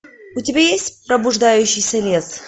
у тебя есть пробуждающийся лес